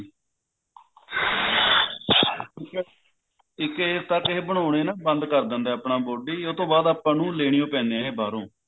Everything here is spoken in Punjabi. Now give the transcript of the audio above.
ਇੱਕ age ਤੱਕ ਇਹ ਬਣਾਉਣੇ ਨਾ ਬੰਦ ਕਰ ਦਿੰਦੇ ਨੇ body ਉਹ ਤੋਂ ਬਾਅਦ ਆਪਾਂ ਨੂੰ ਲੇਣੇ ਹੀ ਪੈਂਦੇ ਨੇ ਬਾਹਰੋਂ